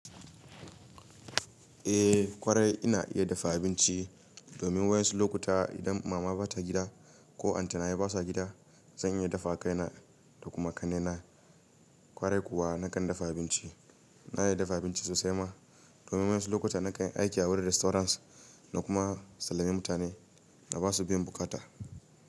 Eh kwarai ina iya dafa abinci domin wayas lokuta idan mama bata gida ko anty na basa gida zan iya dafa wa kaina da kuma ƙannaina. Kwarai kuwa nakan dafa abinci. Na iya dafa abinci sosai ma domin wayas lokuta nakan yi aiki a wurin restaurants na kuma sallami mutane na basu biyan bukata.